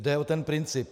Jde o ten princip.